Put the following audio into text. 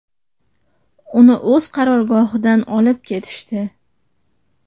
Uni o‘z qarorgohidan olib ketishdi.